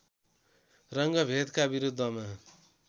रङ्गभेदका विरुद्धमा